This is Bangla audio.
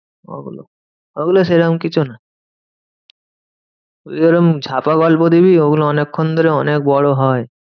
ওগুলো, ওগুলো সেরম কিছু না তুই এরকম ঝাপা গল্প দিবি ওগুলো অনেক্ষন ধরে অনেক বড় হয়।